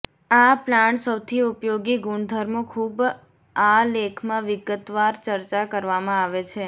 આ પ્લાન્ટ સૌથી ઉપયોગી ગુણધર્મો ખૂબ આ લેખમાં વિગતવાર ચર્ચા કરવામાં આવે છે